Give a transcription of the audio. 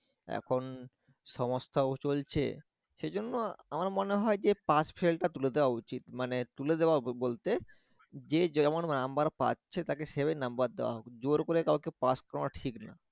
কোন সংস্থাও চলছে সেজন্য আমার মনে হয় যে pass-fail টা তুলে দেয়া উচিত মানে তুলে দেওয়া বলতে যে যেমন number পাচ্ছে তাকে সে ভাবে number দেওয়া হোক জোর করে কাউকে pass করানো ঠিক না